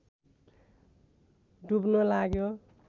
डुब्न लाग्यो